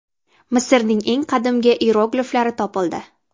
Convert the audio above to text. Misrning eng qadimgi iyerogliflari topildi.